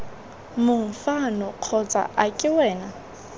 mang fano kgotsa ake wena